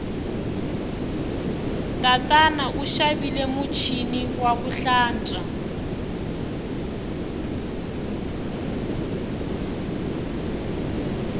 tatana u xavile muchini waku hlantswa